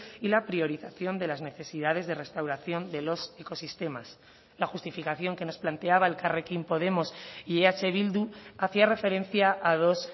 y la priorización de las necesidades de restauración de los ecosistemas la justificación que nos planteaba elkarrekin podemos y eh bildu hacía referencia a dos